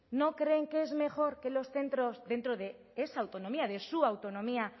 no creen que es mejor que los centros dentro de esa autonomía de su autonomía